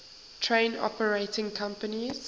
train operating companies